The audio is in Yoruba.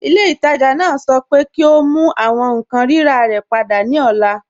Ilẹ̀-itaajà naa sọ̀ pẹ kí o mú àwọn nkan rírà rẹ̀ pada ni ọ̀là